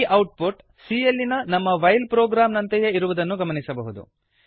ಈ output c ಯಲ್ಲಿನ ನಮ್ಮ ವೈಲ್ ಪ್ರೊಗ್ರಾಮ್ ನಂತೆಯೇ ಇರುವುದನ್ನು ಗಮನಿಸಬಹುದು